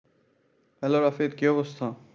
Hello Rafit কি অবস্থা?